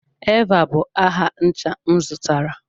Eva bụ aha ncha m zụtara.